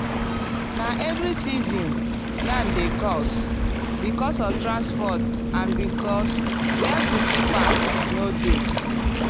na every season yam dey cost because of transport and because where to keep am no dey.